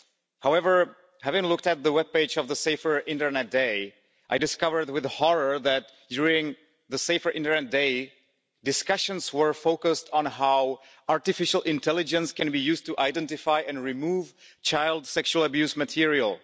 However, having looked at the web page of the Safer Internet Day, I discovered with horror that, during the Safer Internet Day, discussions were focused on how artificial intelligence can be used to identify and remove child sexual abuse material.